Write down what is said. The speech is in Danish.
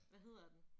Hvad hedder den?